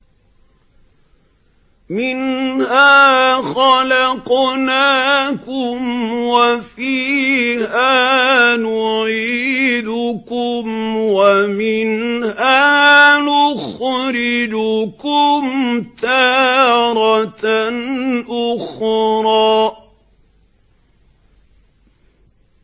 ۞ مِنْهَا خَلَقْنَاكُمْ وَفِيهَا نُعِيدُكُمْ وَمِنْهَا نُخْرِجُكُمْ تَارَةً أُخْرَىٰ